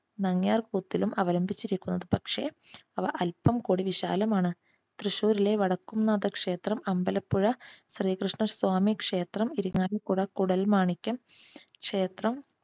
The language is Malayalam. നങ്യാർ കൂത്തിലും അവലംബിച്ചിരിക്കുന്നത്. പക്ഷെ അത് അല്പം കൂടി വിശാലമാണ്. തൃശൂരിലെ വടക്കുംനാഥ ക്ഷേത്രം, അമ്പലപ്പുഴ ശ്രീകൃഷ്ണ സ്വാമി ക്ഷേത്രം, ഇരിങ്ങാലക്കുട കൂടൽമാണിക്യം ക്ഷേത്രം,